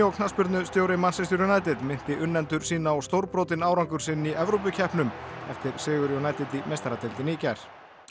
knattspyrnustjóri Manchester United minnti unnendur sína á stórbrotinn árangur sinn í Evrópukeppnum eftir sigur United í meistaradeildinni í gær